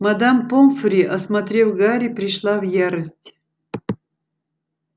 мадам помфри осмотрев гарри пришла в ярость